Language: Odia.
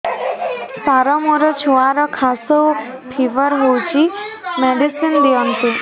ସାର ମୋର ଛୁଆର ଖାସ ଓ ଫିବର ହଉଚି ମେଡିସିନ ଦିଅନ୍ତୁ